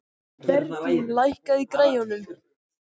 Berglín, lækkaðu í græjunum.